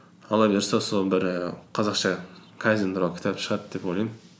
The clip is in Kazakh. алла бұйырса сол бір і қазақша кайдзен туралы кітап шығады деп ойлаймын